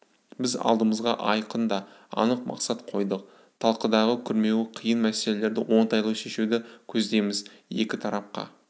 біз алдымызға айқын да анық мақсат қойдық талқыдағы күрмеуі қиын мәселелерді оңтайлы шешуді көздейміз екі тарапқа